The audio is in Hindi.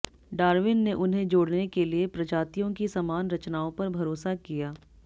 डार्विन ने उन्हें जोड़ने के लिए प्रजातियों की समान रचनाओं पर भरोसा किया